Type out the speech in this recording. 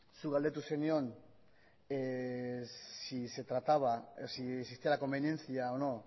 zuk galdetu zenion si se trataba si existía la conveniencia o no